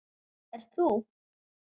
Ert þú?